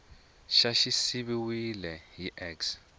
xa xi siviwile hi x